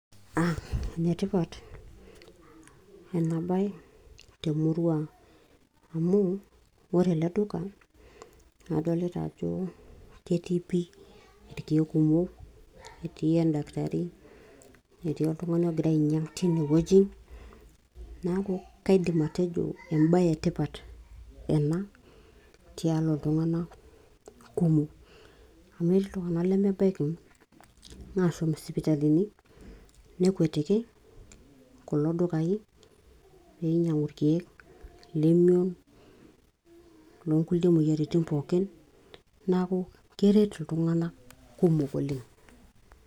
aa enetipat ena baye temurua ang, ore eleduka adolita ajo ketii endakitari netii irkiek etii oltungani ogira ainyiang tine wueji niaku kaidim atejo emaye etipat ena tialo iltunganak kumok amu etii iltunganak lemeidim ashom isipitalini nekwetiki kulo dukai peinyiangu irkiek okulie moyiaritin kumok neeku keret iltunganak kumok.